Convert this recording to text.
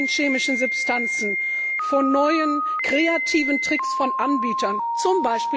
vor neuen chemischen Substanzen, vor neuen, kreativen Tricks von Anbietern, z.